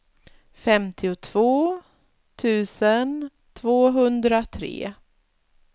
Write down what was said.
femtiotvå tusen tvåhundratre